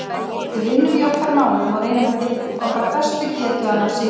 Við vinnum í okkar málum og reynum eftir okkar bestu getu að ná sigri.